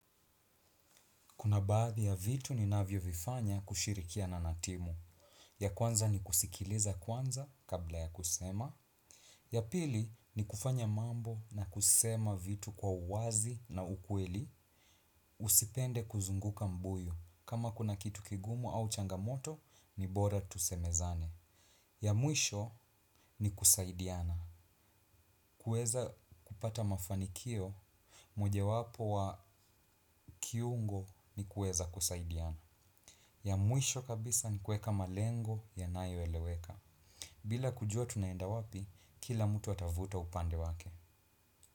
Kuna baadhi ya vitu ninanyovifanya kushirikiana na timu. Ya kwanza ni kusikiliza kwanza kabla ya kusema. Ya pili, ni kufanya mambo na kusema vitu kwa uwazi na ukweli. Usipende kuzunguka mbuyu. Kama kuna kitu kigumu au changamoto ni bora tusemezane. Ya mwisho nikusaidiana. Kuweza kupata mafanikio, moja wapo wa kiungo ni kuweza kusaidiana. Ya mwisho kabisa ni kuweka malengo yanayoeleweka. Bila kujua tunaenda wapi kila mtu atavuta upande wake.